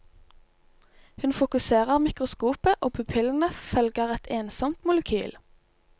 Hun fokuserer mikroskopet og pupillene følger et ensomt molekyl.